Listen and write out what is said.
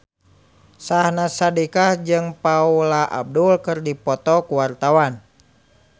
Syahnaz Sadiqah jeung Paula Abdul keur dipoto ku wartawan